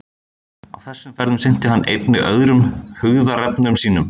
Á þessum ferðum sinnti hann einnig öðrum hugðarefnum sínum.